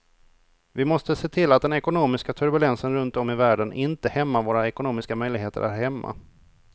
Vi måste se till att den ekonomiska turbulensen runt om i världen inte hämmar våra ekonomiska möjligheter här hemma.